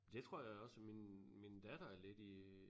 Det tror jeg da også min min datter er lidt i